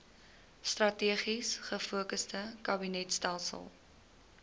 strategies gefokusde kabinetstelsel